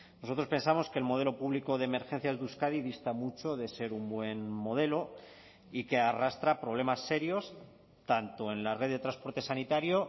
nosotros pensamos que el modelo público de emergencias de euskadi dista mucho de ser un buen modelo y que arrastra problemas serios tanto en la red de transporte sanitario